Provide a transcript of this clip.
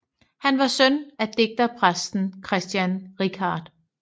Han var søn af digterpræsten Christian Richardt